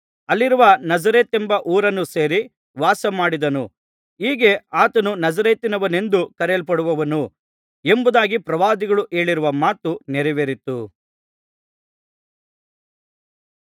ಅಲ್ಲಿರುವ ನಜರೇತೆಂಬ ಊರನ್ನು ಸೇರಿ ವಾಸಮಾಡಿದನು ಹೀಗೆ ಆತನು ನಜರೇತಿನವನೆಂದು ಕರೆಯಲ್ಪಡುವನು ಎಂಬುದಾಗಿ ಪ್ರವಾದಿಗಳು ಹೇಳಿರುವ ಮಾತು ನೆರವೇರಿತು